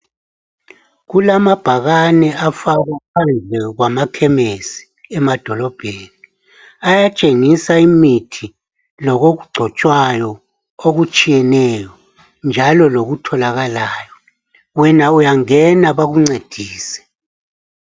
Kulamabhakane afakwa phandle kwamakhemisi emadolobheni ayatshengisa imithi lokugcotshwayo okutshiyene njalo lokutholakalayo wena uyangena bakuncedise.